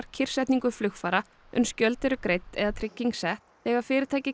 kyrrsetningu flugfara uns gjöld eru greidd eða trygging sett þegar fyrirtækið